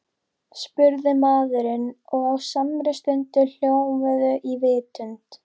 spurði maðurinn og á samri stundu hljómuðu í vitund